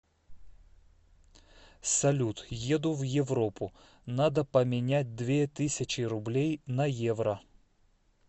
салют еду в европу надо поменять две тысячи рублей на евро